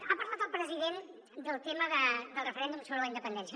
ha parlat el president del tema del referèndum sobre la independència